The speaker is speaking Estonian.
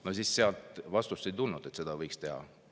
Vastust, kas seda võiks teha, ei tulnud.